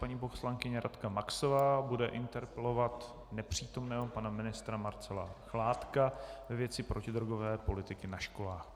Paní poslankyně Radka Maxová bude interpelovat nepřítomného pana ministra Marcela Chládka ve věci protidrogové politiky na školách.